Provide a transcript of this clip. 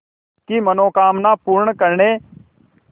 की मनोकामना पूर्ण करने